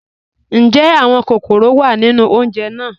Njẹ́ awọn kọkọ́rọ́ wá nínu ọ̀unjè náà?